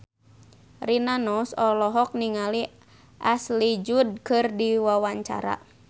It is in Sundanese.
Rina Nose olohok ningali Ashley Judd keur diwawancara